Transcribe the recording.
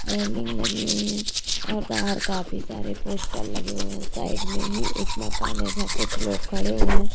Railing लगी हुई हैं और बाहर काफी सारे पोस्टर लगे हुए हैं साइड में ही एक मकान है जहां कुछ लोग खड़े हुए हैं।